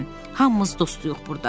Hamımız dostuyuq burda.